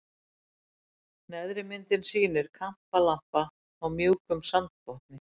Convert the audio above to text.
Neðri myndin sýnir kampalampa á mjúkum sandbotni.